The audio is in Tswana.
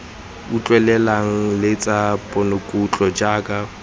utlwelelwang le tsa ponokutlo jaaka